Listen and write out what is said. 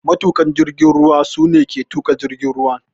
Matuƙan jirgin ruwa su ne ke tuka jirgin ruwa.